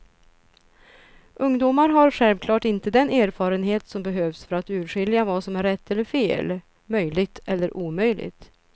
Ungdomar har självklart inte den erfarenhet som behövs för att urskilja vad som är rätt eller fel, möjligt eller omöjligt.